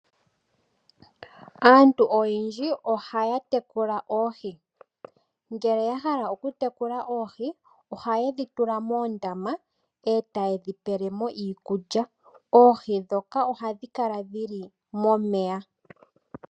Aantu oyendji ohaya tekula oohi ngele yahala okutekula oohi ohayedhi tula moondama etayedhi pelemo iikulya. Oohi ndhoka ohadhi kala dhi li momeya.